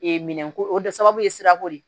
Ee minɛnko o de sababu ye sirako de